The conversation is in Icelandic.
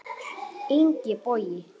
Ingi Bogi.